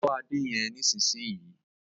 Bó ade yén nísìsiyìí!